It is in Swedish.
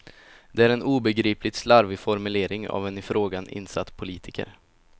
Det är en obegripligt slarvig formulering av en i frågan insatt politiker.